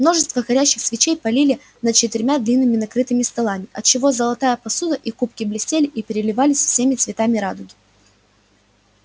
множество горящих свечей парили над четырьмя длинными накрытыми столами отчего золотая посуда и кубки блестели и переливались всеми цветами радуги